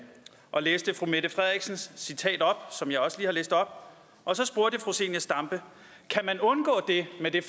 og læste fru mette frederiksens citat op som jeg også lige har læst op og så spurgte fru zenia stampe kan man undgå det med det